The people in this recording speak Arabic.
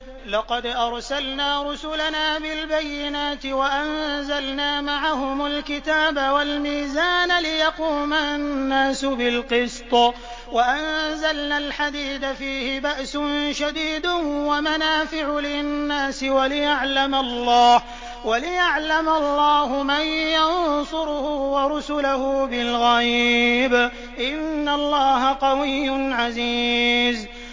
لَقَدْ أَرْسَلْنَا رُسُلَنَا بِالْبَيِّنَاتِ وَأَنزَلْنَا مَعَهُمُ الْكِتَابَ وَالْمِيزَانَ لِيَقُومَ النَّاسُ بِالْقِسْطِ ۖ وَأَنزَلْنَا الْحَدِيدَ فِيهِ بَأْسٌ شَدِيدٌ وَمَنَافِعُ لِلنَّاسِ وَلِيَعْلَمَ اللَّهُ مَن يَنصُرُهُ وَرُسُلَهُ بِالْغَيْبِ ۚ إِنَّ اللَّهَ قَوِيٌّ عَزِيزٌ